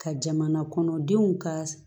Ka jamanakɔnɔdenw ka